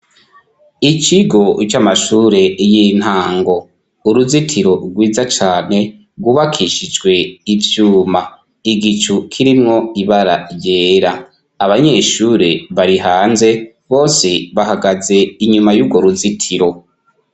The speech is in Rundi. Icigo c' amashure y'intango, uruzitiro rwiza cane rubakishijwe ivyuma, igicu kirimwo ibara ryera abanyeshure barihanze bose bahagaze inyuma y'urwo ruzitiro.